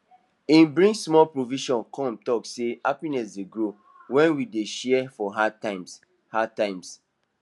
he bring small provision come talk say happiness dey grow when we dey share for hard times hard times